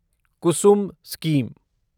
Kusum scheme